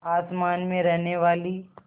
आसमान में रहने वाली